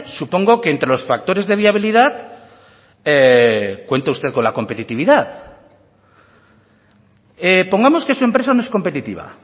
supongo que entre los factores de viabilidad cuenta usted con la competitividad pongamos que su empresa no es competitiva